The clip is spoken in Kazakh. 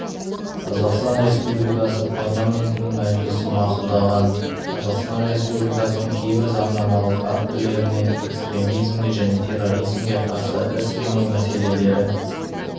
қазақстан республикасы парламентінің мәжілісі мақұлдаған қазақстан республикасының кейбір заңнамалық актілеріне экстремизмге және терроризмге қарсы іс-қимыл мәселелері